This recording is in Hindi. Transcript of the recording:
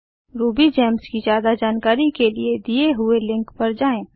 रूबीजेम्स की ज्यादा जानकारी के लिए दिए हुए लिंक पर जाएँ